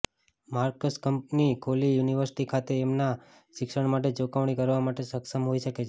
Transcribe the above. marks company ખોલી university ખાતે તેમના શિક્ષણ માટે ચૂકવણી કરવા માટે સક્ષમ હોઇ શકે છે